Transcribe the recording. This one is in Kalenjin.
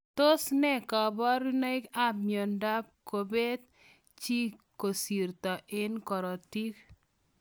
Tos nee kabarunoik ap miondoop kopeet chii koristoo eng korotik?